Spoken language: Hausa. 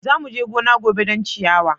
Za mu je gona gobe don ciyawa.